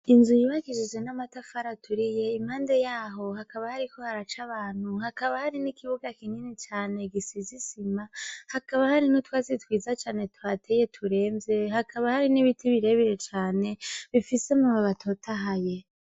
Inzu yubakishije n'amatafari aturiye ,impande yaho hakaba hariko haraca abantu ,hakaba hari n'ikibuga kinini cane gisize isima, hakaba hari n'utwatsi twiza cane tuhateye turenze, hakaba hari n'ibiti birebire cane bifise amababi atotahaye.